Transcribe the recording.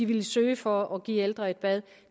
ville søge for at kunne give ældre et bad